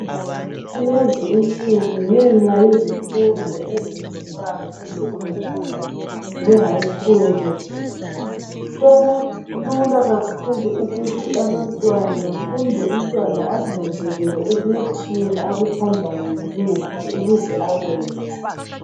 Kulezi insuku, ngenxa yezifundo ezenziwayo, esecondary, lehigh school. Sekulula kakhulu, ukuthi abantwana, kumbe umntwana azinanzelele ukuthi yena akuthandayo, yikuphi. Ukuze akwenze.